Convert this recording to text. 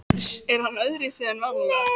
Er hann öðruvísi en vanalega?